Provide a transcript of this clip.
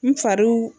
N far'u